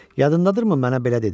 Yadındadır mı mənə belə dedin?